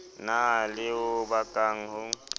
na le ho bakang ho